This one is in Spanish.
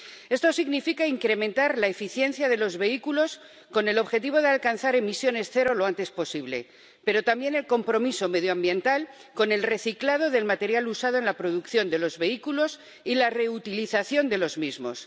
Esto significa incrementar la eficiencia de los vehículos con el objetivo de alcanzar emisiones cero lo antes posible, pero también el compromiso medioambiental con el reciclado del material usado en la producción de los vehículos y la reutilización de los mismos.